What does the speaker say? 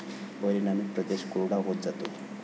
परिणामी प्रदेश कोरडा होत जातो.